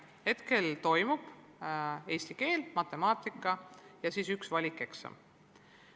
Hetkel tuleb teha eesti keele, matemaatika- ja valikeksam.